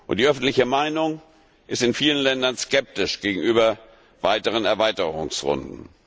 Die öffentliche Meinung ist in vielen Ländern skeptisch gegenüber weiteren Erweiterungsrunden.